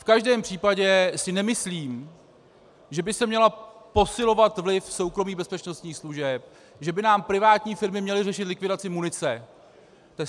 V každém případě si nemyslím, že by se měl posilovat vliv soukromých bezpečnostních služeb, že by nám privátní firmy měly řešit likvidaci munice.